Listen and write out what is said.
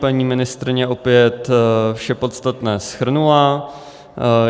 Paní ministryně opět vše podstatné shrnula.